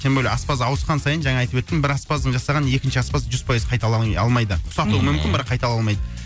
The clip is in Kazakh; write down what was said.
тем более аспаз ауысқан сайын жаңа айтып өттім жаңа бір аспаздың жасағанын екінші аспаз жүз пайыз қайталай алмайды мхм ұқсатуы мүмкін бірақ қайталай алмайды